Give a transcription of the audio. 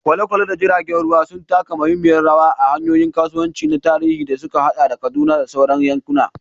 Kwale-kwale da jiragen ruwa sun taka muhimmiyar rawa a hanyoyin kasuwanci na tarihi da suka haɗa Kaduna da sauran yankuna.